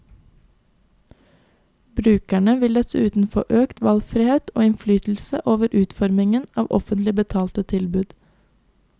Brukerne vil dessuten få økt valgfrihet og innflytelse over utformingen av offentlig betalte tilbud.